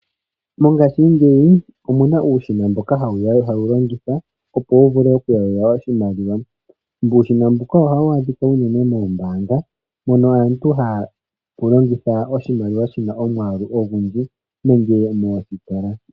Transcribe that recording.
Mongashingeyi omuna uushina mboka hawu longithwa oku yalula iimaliwa. Uushina mbuka ohawu adhika unene mombaanga mono aantu ha ya yalula oshimaliwa shomwaalu ogundji nenge moositola.